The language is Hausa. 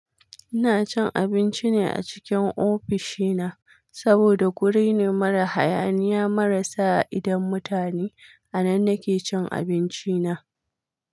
Ina cin abinci ne a cikin ofishina saboda guri ne mara hayaniya mara sa idan mutane. A nan nake cin abinci na.